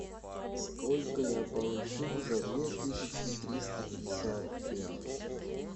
сколько я получу за две тысячи триста пятьдесят реалов